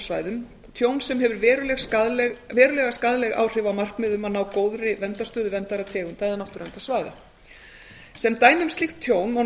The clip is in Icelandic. náttúruverndarsvæðum tjón sem hefur veruleg skaðleg áhrif á markmið um að ná góðri verndarstöðu verndaðra tegunda eða náttúruverndarsvæða sem dæmi um slíkt tjón má